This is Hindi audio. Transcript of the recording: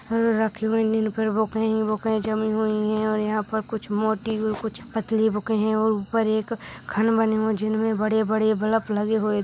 रखी हुई इन पर बुके हीं बुके जमीं हुई हैं और यहाँ पर कुछ मोटी और कुछ पतली बुकें हैं और ऊपर एक खन बने हुए हैं जिनमें बड़े-बड़े बल्फ लगे हुए --